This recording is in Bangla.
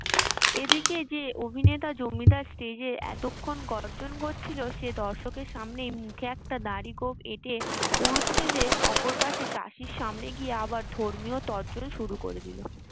যে অভিনেতা জমিদার stage এতক্ষণ গর্জন করছিল সে দর্শকের সামনে মুখে একটা দাড়ি গোঁফ এঁটে পুরুত সেজে অপর পাশে চাষির সামনে গিয়ে আবার ধর্মীয় তর্জন শুরু করে দিলো।